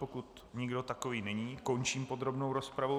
Pokud nikdo takový není, končím podrobnou rozpravu.